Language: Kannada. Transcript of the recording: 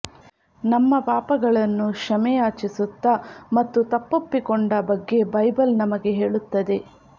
ನಮ್ಮ ಪಾಪಗಳನ್ನು ಕ್ಷಮೆಯಾಚಿಸುತ್ತಾ ಮತ್ತು ತಪ್ಪೊಪ್ಪಿಕೊಂಡ ಬಗ್ಗೆ ಬೈಬಲ್ ನಮಗೆ ಹೇಳುತ್ತದೆ